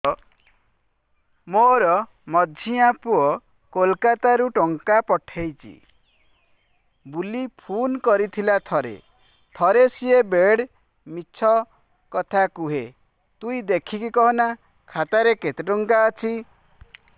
ମୋର ମଝିଆ ପୁଅ କୋଲକତା ରୁ ଟଙ୍କା ପଠେଇଚି ବୁଲି ଫୁନ କରିଥିଲା ଥରେ ଥରେ ସିଏ ବେଡେ ମିଛ କଥା କୁହେ ତୁଇ ଦେଖିକି କହନା ଖାତାରେ କେତ ଟଙ୍କା ଅଛି